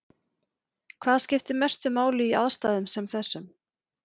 Hvað skiptir mestu máli í aðstæðum sem þessum?